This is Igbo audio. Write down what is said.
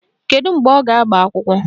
Kedu mgbe ọ ga-agba akwụkwọ?